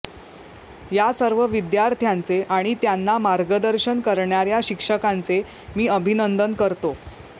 या सर्व विद्यार्थ्यांचे आणि त्यांना मार्गदर्शन करणाऱ्या शिक्षकांचे मी अभिनंदन करतो